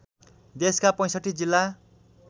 देशका ६५ जिल्ला